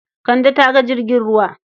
Kande ta ga jirgin ruwa.